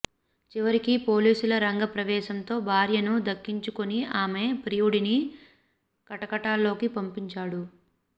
చివరికి పోలీసుల రంగ ప్రవేశంతో భార్యను దక్కించుకుని ఆమె ప్రియుడిని కటకటాల్లోకి పంపించాడు